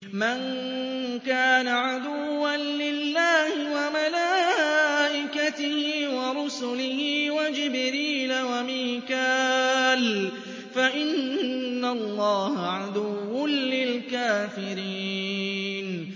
مَن كَانَ عَدُوًّا لِّلَّهِ وَمَلَائِكَتِهِ وَرُسُلِهِ وَجِبْرِيلَ وَمِيكَالَ فَإِنَّ اللَّهَ عَدُوٌّ لِّلْكَافِرِينَ